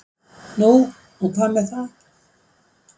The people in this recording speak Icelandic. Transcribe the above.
Nú og hvað með það?